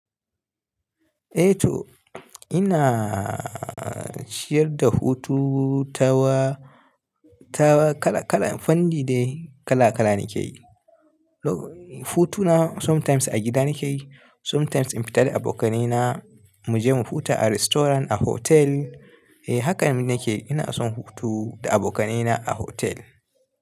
Eh to ina shiyar da hutu tawa, tawa kala kala, fandi dai kala kala nake yi. Lo hutu na sometimes a gida nake yi, sometimes in fita da abokanai na muje mu huta a restaurant, a hotel. Eh hakan nake, ina son hutu da abokanai na a hotel.